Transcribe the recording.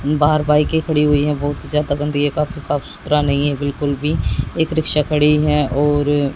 बाहर बाइके खड़ी हुई है बहोत ही ज्यादा गंदी है काफी साफ सुथरा नहीं है बिल्कुल भी एक रिक्शा खड़ी है और अ--